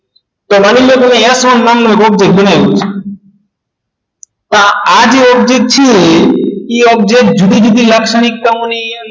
કે માની લો તમે અહીંયા શું નામનું object બનાવ્યું હતું તો આજે object છે એ object જુદી-જુદી લાક્ષણિકતાઓની